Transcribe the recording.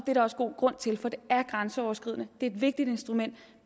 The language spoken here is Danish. er der også god grund til for det er grænseoverskridende det er et vigtigt instrument